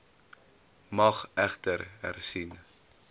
mag egter hersien